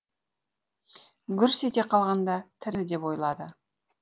гүрс ете қалғанда тірі деп ойлады